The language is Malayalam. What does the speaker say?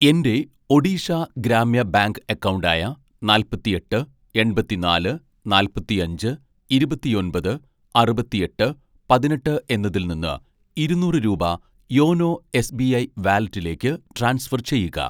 എൻ്റെ ഒഡീഷ ഗ്രാമ്യ ബാങ്ക് അക്കൗണ്ട് ആയ നാല്പത്തിയെട്ട് എൺപത്തിനാല് നാൽപ്പത്തിയഞ്ച് ഇരുപത്തിയൊമ്പത് അറുപത്തിയെട്ട് പതിനെട്ട് എന്നതിൽ നിന്ന് ഇരുന്നൂറ് രൂപ യോനോ എസ്.ബി.ഐ വാലറ്റിലേക്ക് ട്രാൻസ്ഫർ ചെയ്യുക